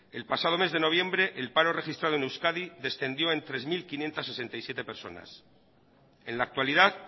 el pasado mes de noviembre el paro registrado en euskadi descendió en tres mil quinientos sesenta y siete personas en la actualidad